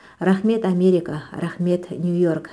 рахмет америка рахмет нью йорк